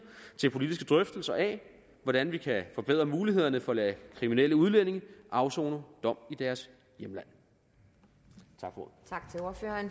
til politiske drøftelser af hvordan vi kan forbedre mulighederne for at lade kriminelle udlændinge afsone dom i deres hjemland tak